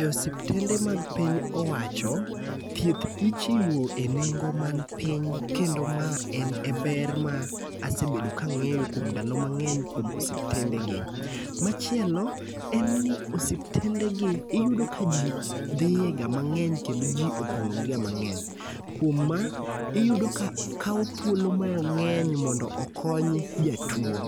E osiptende mag piny owacho, thieth ichiwo e nengo man piny, kendo ma en e ber ma asebedo ka angéyo kuom ndalo mangény e osiptendegi. Machielo en ni osiptendegi, iyudo ka ji dhie ga mangény kendo ji opongógiga mangény. Kuom ma, iyudo ka kawo thuolo mangény mondo okony jatuo.